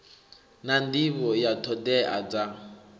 na nḓivho ya ṱhoḓea dza